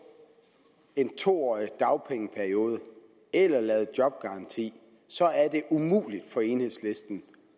en to årig dagpengeperiode eller lavet jobgaranti så er det umuligt for enhedslisten